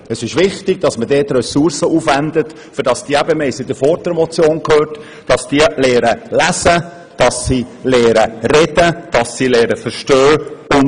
Es ist wichtig, dass wir dort Ressourcen aufwenden, damit diese Kinder, wie wir in der vorangehenden Motion besprochen haben, lesen sowie sprechen und verstehen lernen.